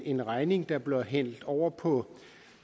en regning der bliver hældt over på